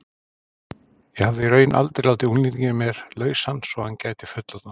Ég hafði í raun aldrei látið unglinginn í mér lausan svo að hann gæti fullorðnast.